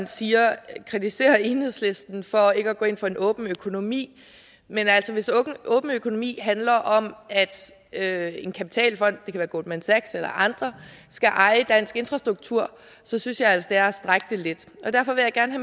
kritiserer enhedslisten for ikke at gå ind for en åben økonomi men hvis åben økonomi handler om at en kapitalfond det kan være goldman sachs eller andre skal eje dansk infrastruktur så synes jeg altså det er at strække det lidt derfor vil jeg gerne